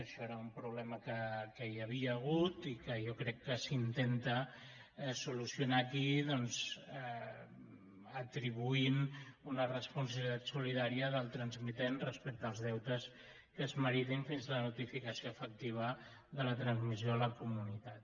això és un problema que hi havia hagut i que jo crec que s’intenta solucionar aquí atribuint una responsabilitat solidària del transmitent respecte als deutes que es meritin fins a la notificació efectiva de la transmissió a la comunitat